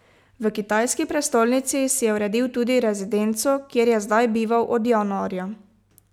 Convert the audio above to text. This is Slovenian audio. V kitajski prestolnici si je uredil tudi rezidenco, kjer je zdaj bival od januarja.